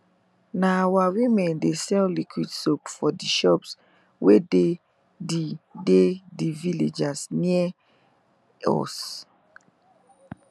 na our women de sell liquid soap for de shops wey dey the dey the villages wey near us